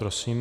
Prosím.